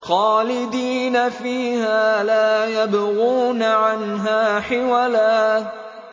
خَالِدِينَ فِيهَا لَا يَبْغُونَ عَنْهَا حِوَلًا